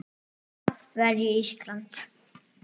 Af hverju Ísland?